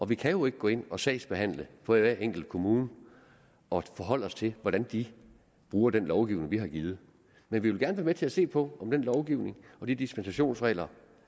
vi kan jo ikke gå ind og sagsbehandle for hver enkelt kommune og forholde os til hvordan de bruger den lovgivning vi har givet vi vil gerne være med til at se på om den lovgivning og de dispensationsregler